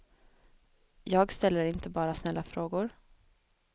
Jag ställer inte bara snälla frågor.